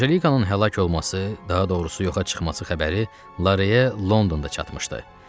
Anjelikanın həlak olması, daha doğrusu yoxa çıxması xəbəri Lareyə Londonda çatmışdı.